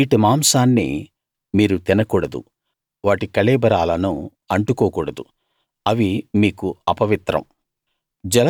వీటి మాంసాన్ని మీరు తినకూడదు వాటి కళేబరాలను అంటుకోకూడదు అవి మీకు అపవిత్రం